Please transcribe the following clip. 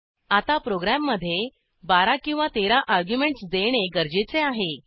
आता प्रोग्रॅममधे 12 किंवा 13 अर्ग्युमेंटस देणे गरजेचे आहे